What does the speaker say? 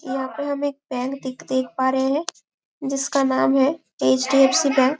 यहाँ पे हम एक बैंक देख देख पा रहे हैं जिसका नाम है एच_डी_एफ_सी बैंक ।